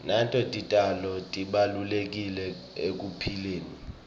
nato titjalo tibalulekile ekuphileni